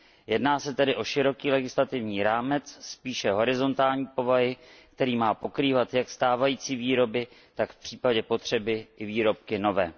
Jedná se tedy o široký legislativní rámec spíše horizontální povahy, který má pokrývat jak stávající výrobky, tak vpřípadě potřeby i výrobky nové.